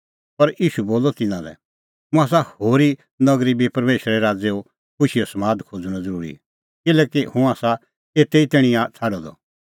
पर ईशू बोलअ तिन्नां लै मुंह आसा होरी नगरी बी परमेशरे राज़ो खुशीओ समाद खोज़णअ ज़रूरी किल्हैकि हुंह आसा एते ई तैणीं छ़ाडअ द